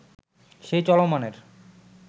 সেই চলমানের